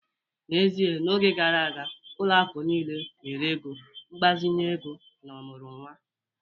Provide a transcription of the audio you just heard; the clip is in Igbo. N'ezie, n'oge gara aga, ụlọ akụ niile nyere ego mgbazinye ego na ọmụrụ nwa